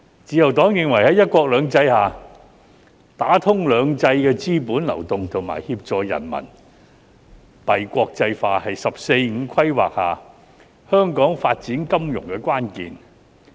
自由黨認為在"一國兩制"下，打通兩制的資本流動和協助人民幣國際化是在"十四五"規劃下香港發展金融的關鍵。